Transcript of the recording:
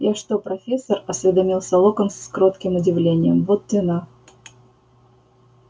я что профессор осведомился локонс с кротким удивлением вот те на